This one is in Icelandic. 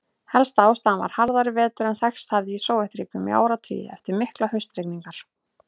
Helsta ástæðan var harðari vetur en þekkst hafði í Sovétríkjunum í áratugi, eftir miklar haustrigningar.